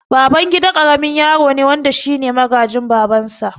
Babangida karamin yaro ne wanda shine magaji babansa